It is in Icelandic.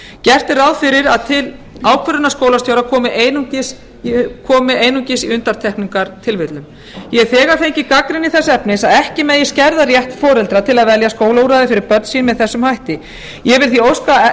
gert er ráð fyrir að til ákvörðunar skólastiga komi einungis í undantekningartilfellum ég hef þegar fengið gagnrýni þess efnis að auk megi skerða rétt foreldra til að velja skólaúrræði fyrir börn sín með þessum hætti ég vil því óska